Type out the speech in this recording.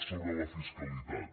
sobre la fiscalitat